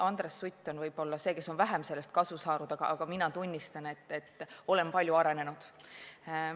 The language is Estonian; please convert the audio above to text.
Andres Sutt on võib-olla sellest vähem kasu saanud, aga mina tunnistan, et olen palju arenenud.